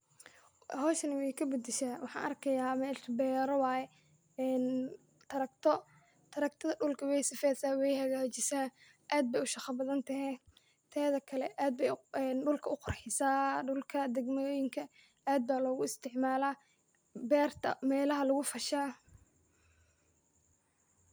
Howshan way kabadasha, waxan arkiya, mesha beero waye en trakto, traktada dhulka way sifeysa way hagajisaa aad bay ushaqa badan tehe, tedikale aad bay dhulka uqur xisaa, dhulka degmayoyinka aad ba logu isticmaala, beerta melaha lugu fashaa.